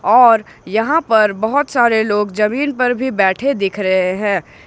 और यहां पर बहुत सारे लोग जमीन पर भी बैठे दिख रहे हैं।